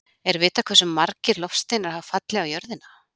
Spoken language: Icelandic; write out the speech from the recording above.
Er vitað hversu margir loftsteinar hafa fallið á jörðina?